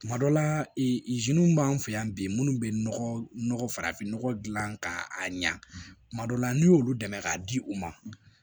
Kuma dɔ la b'an fɛ yan bi munnu bɛ nɔgɔ farafinnɔgɔ dilan k'a ɲɛ kuma dɔw la n'u y'olu dɛmɛ k'a di u ma